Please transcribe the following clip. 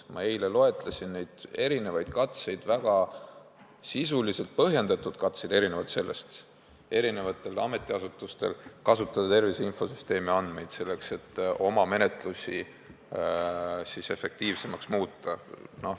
Ma eile loetlesin erinevaid sisuliselt väga põhjendatud katseid saavutada, et eri ametiasutustel oleks luba kasutada tervise infosüsteemi andmeid selleks, et oma menetlusi efektiivsemaks muuta.